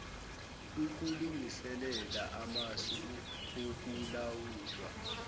ukulungiselela amasu okulawulwa